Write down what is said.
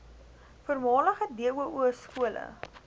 voormalige doo skole